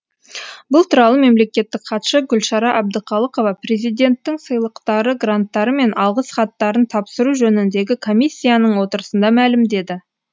бұл туралы мемлекеттік хатшы гүлшара әбдіқалықова президенттің сыйлықтары гранттары мен алғыс хаттарын тапсыру жөніндегі комиссияның отырысында мәлімдеді